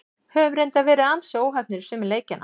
Höfum reyndar verið ansi óheppnir í sumum leikjanna.